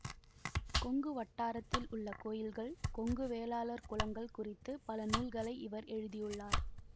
கொங்கு வட்டாரத்தில் உள்ள கோயில்கள் கொங்கு வேளாளர் குலங்கள் குறித்து பல நூல்களை இவர் எழுதியுள்ளார்